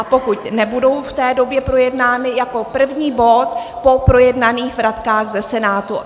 A pokud nebudou v té době projednány, jako první bod po projednaných vratkách se Senátu.